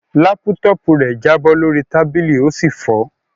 Lápútọ́ọ̀pù rẹ̀ jábọ́ lórí tábìlì ó sì fọ́.